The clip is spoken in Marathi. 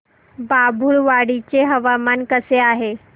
बाभुळवाडी चे हवामान कसे आहे